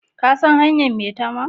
Ka sa hanyar maitama?